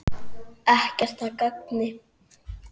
Ekkert að gagni.